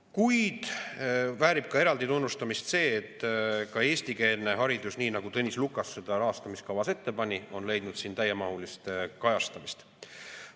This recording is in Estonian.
Kuid väärib ka eraldi tunnustamist see, et eestikeelne haridus, nii nagu Tõnis Lukas seda rahastamiskavas ette pani, on leidnud siin täiemahulist kajastamist.